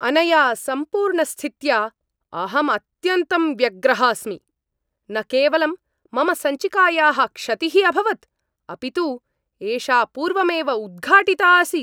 अनया सम्पूर्णस्थित्या अहम् अत्यन्तं व्यग्रः अस्मि। न केवलं मम सञ्चिकायाः क्षतिः अभवत्, अपि तु एषा पूर्वमेव उद्घाटिता आसीत्!